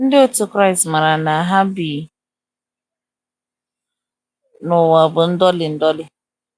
Ndị otu Kraịst maara na ha bi n’ụwa bụ ndọli ndọli.